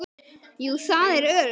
Jú, það er öruggt.